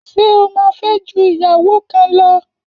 Ṣé o má fẹ́ ju ìyàwó kan lọ?.